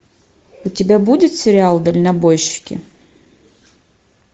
у тебя будет сериал дальнобойщики